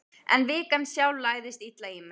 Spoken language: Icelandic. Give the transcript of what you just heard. En vikan sjálf lagðist illa í mig.